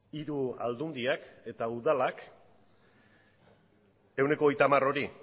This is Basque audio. hiru aldundiak eta udalak ehuneko hogeita hamar hori